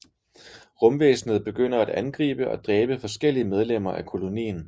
Rumvæsnet begynder at angribe og dræbe forskellige medlemmer af kolonien